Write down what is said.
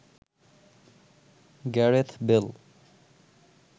Gareth Bale